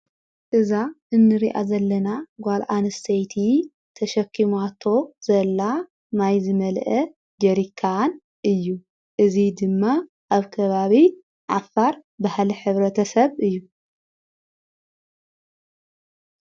እዛ እንርኣ ዘለና ጓልዓንስተይቲ ተሸኪማቶ ዘላ ማይዝ መልአ ጌሪካን እዩ እዙ ድማ ኣብ ከባቢ ዓፋር ብህለ ኅብረ ተሰብ እዩ።